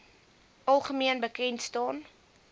algemeen bekend staan